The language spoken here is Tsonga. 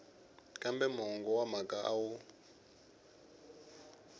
kambe mongo wa mhaka wu